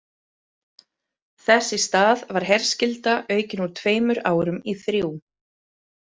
Þess í stað var herskylda aukin úr tveimur árum í þrjú.